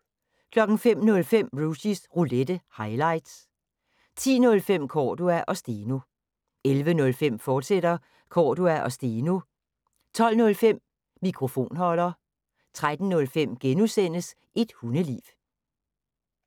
05:05: Rushys Roulette – highlights 10:05: Cordua & Steno 11:05: Cordua & Steno, fortsat 12:05: Mikrofonholder 13:05: Et hundeliv *